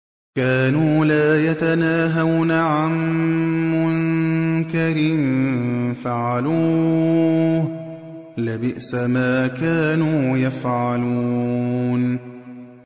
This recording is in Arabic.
كَانُوا لَا يَتَنَاهَوْنَ عَن مُّنكَرٍ فَعَلُوهُ ۚ لَبِئْسَ مَا كَانُوا يَفْعَلُونَ